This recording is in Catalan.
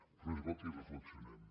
però és bo que hi reflexionem